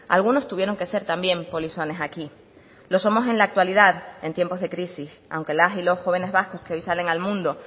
algunos tuvieron que ser también polizones aquí lo somos en la actualidad en tiempos de crisis aunque las y los jóvenes vascos que hoy salen al mundo